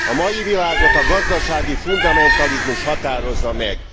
A mai világot a gazdasági fundamentalizmus határozza meg.